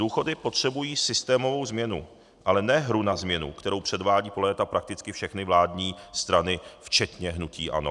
Důchody potřebují systémovou změnu, ale ne hru na změnu, kterou předvádějí po léta prakticky všechny vládní strany včetně hnutí ANO.